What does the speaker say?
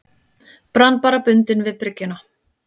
Brann bara bundinn við bryggjuna.